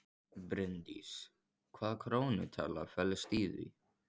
Bryndís: Hvaða krónutala felst í því?